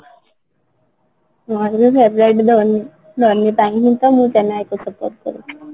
ମୋର ବି favourite ଧୋନି ଧୋନି ପାଇଁ ହିଁ ତ ମୁଁ chennai କୁ support କରେ